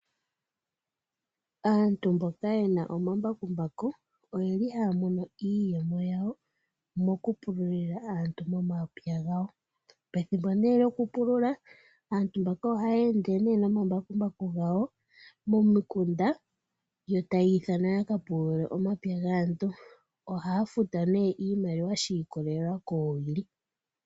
Aantu mboka yena omambakumbaku oyeli haya mono iiyemo yawo mokupululia aantu momapya gawo . Pethimbo lyokupulula aantu mbaka ohaya ende nomambakumbaku gawo , momikunda yo taya ithana yakupulule omapya gaantu. Ohaya futwa iimaliwa shiikolelela koowili.